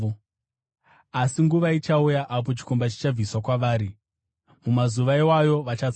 Asi nguva ichauya apo chikomba chichabviswa kwavari; mumazuva iwayo vachatsanya.”